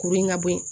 Kuru in ka bɔ ye